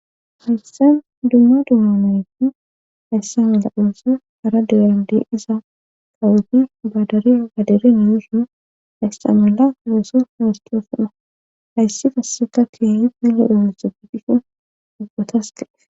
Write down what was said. hayssan dumma dumamayti hayssamela qoosa ara deande iza qawubi baadariya gaderenayisu haystamala oweso hawostoofona hayssi fasseta tiyahi pele emesegidihhin ubgotas gaef